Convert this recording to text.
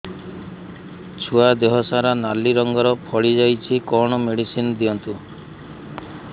ଛୁଆ ଦେହ ସାରା ନାଲି ରଙ୍ଗର ଫଳି ଯାଇଛି କଣ ମେଡିସିନ ଦିଅନ୍ତୁ